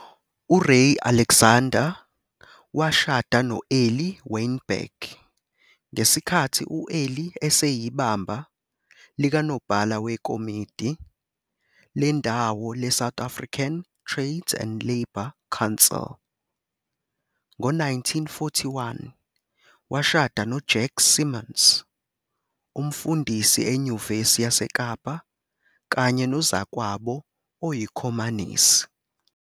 URay Alexander washada no-Eli Weinberg ngesikhathi u-Eli eseyibamba likaNobhala wekomidi lendawo leSouth African Trades and Labour Council. Ngo-1941, washada no- Jack Simons, umfundisi eNyuvesi yaseKapa kanye nozakwabo oyiKhomanisi.